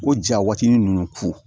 O ja waati ninnu ku